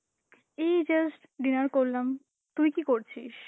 এই just dinner করলাম, তুই কি করছিস?